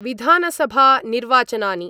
विधानसभा निर्वाचनानि